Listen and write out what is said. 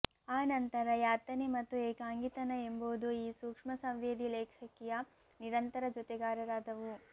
ಆನಂತರ ಯಾತನೆ ಮತ್ತು ಏಕಾಂಗಿತನ ಎಂಬುವುದು ಈ ಸೂಕ್ಷ್ಮ ಸಂವೇದಿ ಲೇಖಕಿಯ ನಿರಂತರ ಜೊತೆಗಾರರಾದವು